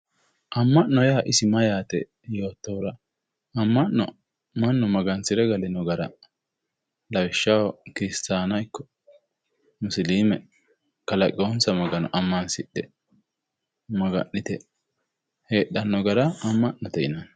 Amma'no yaa isi mayyaate yoottohura ama'no mannu magansire galino gara lawishshaho kiristaana ikko musiliime kalaqeyoonsa magano ammansidhe maga'nite heedhanno gara amma'note yinanni